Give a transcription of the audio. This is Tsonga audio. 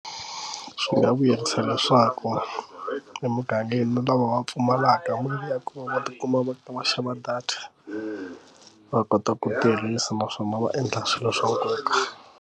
Swi nga vuyerisa leswaku emugangeni lowu lava va pfumalaka mali ya ku va va tikuma va kha va xava data va kota ku tirhisa naswona va endla swilo swa nkoka.